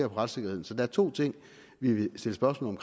retssikkerheden så der er to ting vi vil stille spørgsmål